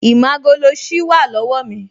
Ìmágoloṣí wà lọ́wọ́ mi